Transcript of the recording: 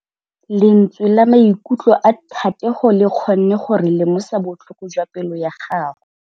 Lentswe la maikutlo a Thategô le kgonne gore re lemosa botlhoko jwa pelô ya gagwe.